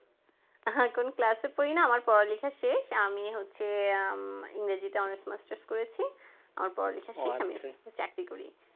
আহ কোন class এ পড়ি না আমার পড়ালেখা শেষ আমি হচ্ছে ইংরেজিতে honours masters করেছি আমার পড়ালেখা শেষ আমি এখন চাকরি করি